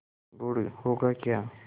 गुड़ होगा क्या